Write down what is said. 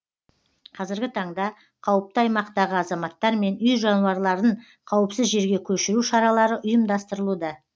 қазіргі таңда қауіпті аймақтағы азаматтар мен үй жануарларын қауіпсіз жерге көшіру шаралары ұйымдастырылуда